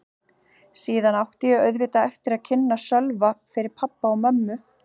Síðan átti ég auðvitað eftir að kynna Sölva fyrir pabba og mömmu.